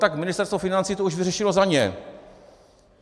Tak Ministerstvo financí to už vyřešilo za ně.